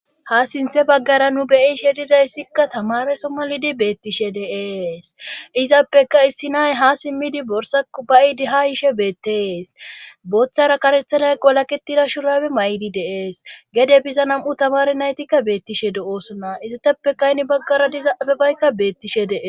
Ha sinthe baggara nu beyishe dizayssikka tamame somma lidi beettishe deees izappeka issi nay ha simmidi borsaku bayidi ha yishe beetteees booththara karethanay qolaketida shurabe may7di deees gede biza nam7u tamare naytikka beettishe do7oosonna issatappekayni baggara dizafe baykka beettishe dee.